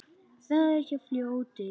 Það er hjá fljóti.